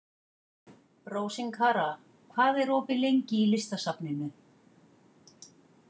Rósinkara, hvað er opið lengi í Listasafninu?